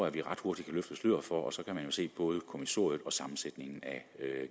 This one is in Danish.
at vi ret hurtigt kan løfte sløret for og så kan man jo se både kommissoriet og sammensætningen af